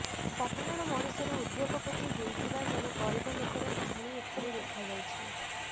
ସାଧାରଣ ମଣିଷରୁ ଉଦ୍ୟୋଗପତି ହୋଇଥିବା ଜଣେ ଗରିବ ଲୋକର କାହାଣୀ ଏଥିରେ ଦେଖା ଯାଇଛି